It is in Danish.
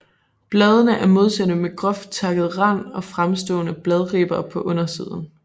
Bladene er modsatte med groft takket rand og fremstående bladribber på undersiden